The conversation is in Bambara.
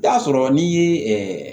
Taa sɔrɔ n'i ye